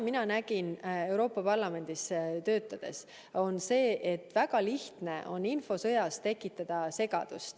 Euroopa Parlamendis töötades ma nägin, et väga lihtne on infosõjas segadust tekitada.